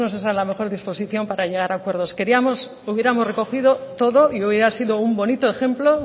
bueno pues no es esa la mejor disposición para llegar a acuerdos queríamos o hubiéramos recogido todo y hoy ha sido un bonito ejemplo